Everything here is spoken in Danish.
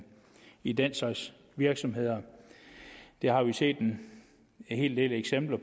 i den slags virksomheder det har vi set en hel del eksempler